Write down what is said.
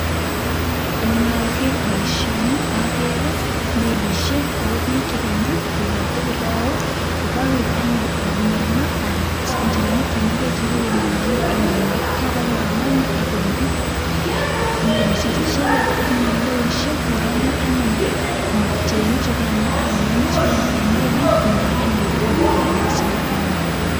Inager baishoni agere melishek ako bik chikanyi akoibate kiraok kokakoib anyun omeno ak injirenik chemengechen en ainet akoba koram akonde melishek Chu ak icheket kotinye indoishek koramu anyun injirenik chukano ak omeno en melit konda tabandab ainet sikonda anyun